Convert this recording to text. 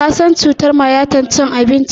Ka san cutar mayatar cin abinci?